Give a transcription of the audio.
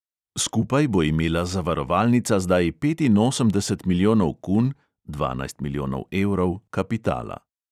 Skupaj bo imela zavarovalnica zdaj petinosemdeset milijonov kun (dvanajst milijonov evrov) kapitala.